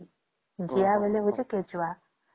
ଜିଆ ବୋଲେ ବୁଝୁ କେ ଛୁଆ